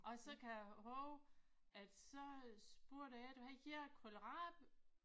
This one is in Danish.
Og så kan jeg huske at så spurgte jeg dem hvad hedder kålrabi